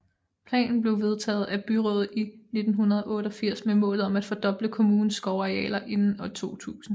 Planen blev vedtaget af byrådet i 1988 med målet om at fordoble kommunens skovarealer inden år 2000